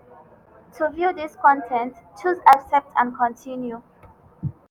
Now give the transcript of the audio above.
to view dis con ten t choose 'accept and continue'.